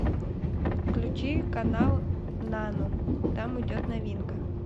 включи канал нано там идет новинка